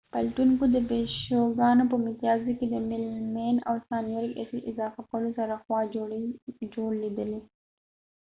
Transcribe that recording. پلټونکو د پيشوګانو په متيازو کي د میلمین او سانیوریک اسید اضافه کولو سره خوا جوړ لیدلې